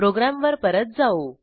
प्रोग्रॅमवर परत जाऊ